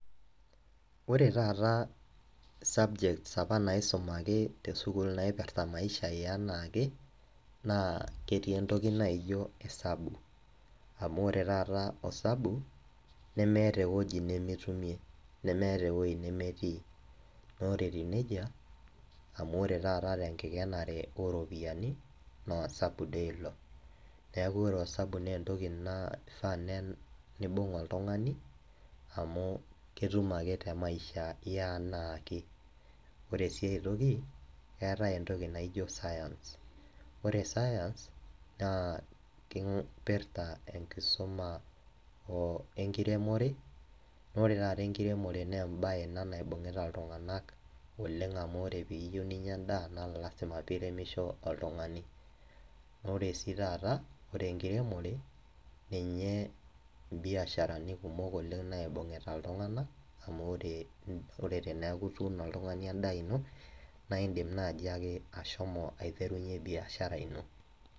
Ore taata subjects naisumaki te sukuul naipirita maisha e enaake, naa ketii entoki naijo isabu, amu ore taata osabu nemeata ewueji nemitumie, nemeata ewueji nemetii, na ore etiu neija amu ore taata te enkikenare o iropiani naa osabu dei ilo, neaku ore dei osabu naa entoki naa keifaa neibung' oltung'ani amu ketum ake te maisha e anaake. Ore sii ai toki, eatai entoki najoi Science, ore science naa keipirta enkisuma o enkiremore, naa ore taata enkiremore naa embae naibungita iltung'ana oleng' amu ore pee iyou ninya endaa naa ilasila pee iremisho ira oltung'ani. Naa ore sii taata ore enkiremore ninye imbiasharani kumok naibungita iltung'ana, amu ore teneaku ituuno oltung'ani endaa ino naa indim naaji ake ashomo aiterunye biashara ino.